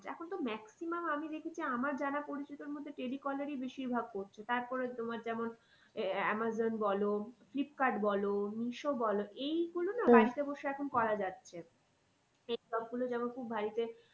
এখন তো maximum আমি দেখেছি আমার জানা পরিচিতর মধ্যে telecaller ই বেশির ভাগ করছে। তারপরে তোমার যেমন আহ এমাজন বলো ফ্লিপকার্ট বলো মিশো বলো এই গুলো না বসে এখন করা যাচ্ছে। গুলো যেমন খুব বাড়িতে